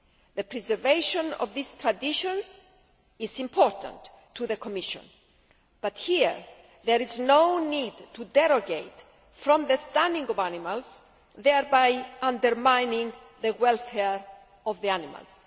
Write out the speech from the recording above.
The preservation of these traditions is important to the Commission but there is no need to derogate from the stunning of animals, thereby undermining the welfare of the animals.